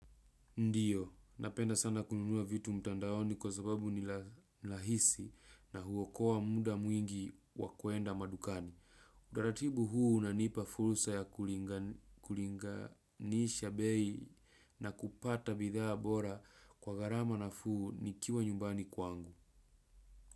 Ndiyo, napenda sana kununua vitu mtandaoni kwa sababu ni lahisi na huwokoa muda mwingi wakuenda madukani. Udaratibu huu na unanipa furusa ya kulinga nisha bei na kupata bidhaa bora kwa garama na fuu ni kiwa nyumbani kwangu.